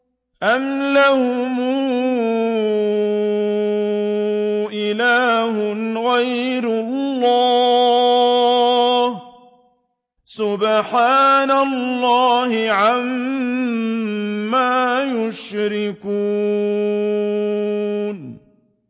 أَمْ لَهُمْ إِلَٰهٌ غَيْرُ اللَّهِ ۚ سُبْحَانَ اللَّهِ عَمَّا يُشْرِكُونَ